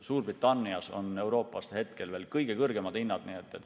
Suurbritannias on Euroopas hetkel veel kõige kõrgemad hinnad.